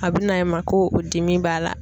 A bɛ na e ma ko o dimi b'a la.